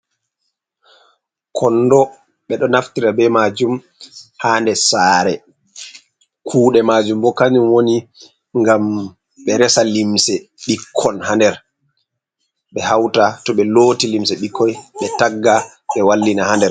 Kondo, ɓe ɗo naftira be maajum ha ndes sare. Kuuɗe maajum bo kanjum woni ngam ɓe resa limse bikkon ha nder. Ɓe hauta, to ɓe looti limse bikkon, ɓe tagga, ɓe wallina ha nder.